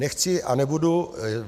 Nechci a nebudu...